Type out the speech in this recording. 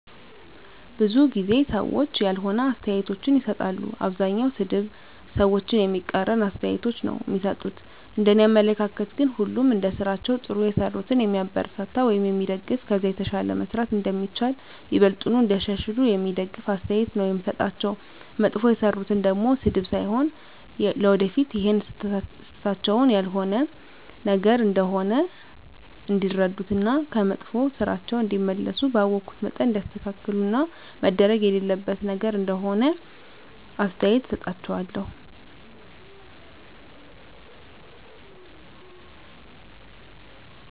ብዙ ጊዜ ሰዎች ያልሆነ አስተያየቶችን ይሰጣሉ። አብዛኛዉ ሰድብ፣ ሰዎችን የሚቃረን አስተያየቶች ነዉ እሚሰጡት፤ እንደኔ አመለካከት ግን ሁሉንም እንደስራቸዉ ጥሩ የሰሩትን የሚያበረታታ ወይም የሚደገፍ ከዛ የተሻለ መስራት እንደሚቻል፣ ይበልጥኑ እንዲያሻሽሉ የሚደግፍ አስተያየት ነዉ የምሰጣቸዉ፣ መጥፎ የሰሩትን ደሞ ስድብ ሳይሆን ለወደፊት ይሀን ስህተታቸዉን ያልሆነ ነገር እንደሆነ እንዲረዱት እና ከመጥፋ ስራቸዉ እንዲመለሱ ባወኩት መጠን እንዲያስተካክሉት እና መደረግ የሌለበት ነገር እንደሆነ አስተያየት እሰጣቸዋለሁ።